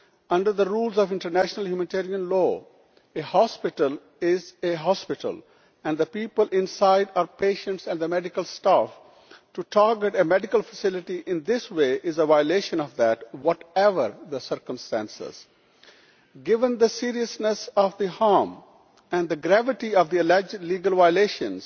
Under the rules of international humanitarian law, a hospital is a hospital, and the people inside are patients and medical staff. To target a medical facility in this way is a violation of that law, whatever the circumstances. Given the seriousness of the harm and the gravity of the alleged legal violations,